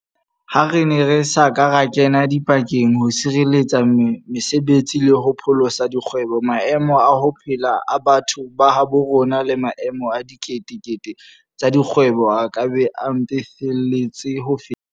Ha re ne re sa ka ra kena dipakeng ho sireletsa mese betsi le ho pholosa dikgwebo, maemo a ho phela a batho ba habo rona le maemo a dikete kete tsa dikgwebo a ka be a mpefetse le ho feta.